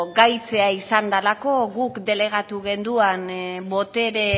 gaitzea izan delako guk delegatu genuen botere